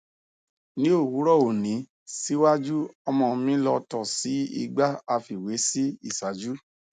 ni owurọ oni siwaju ọmọ mi lọ to sii igba afiwe si iṣaaju